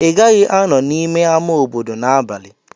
Ị gaghị anọ n'ime ama obodo n'abalị.